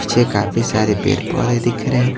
पीछे काफी सारे पेड़-पौधे दिख रहे हैं।